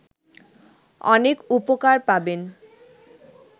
অনেক উপকার পাবেন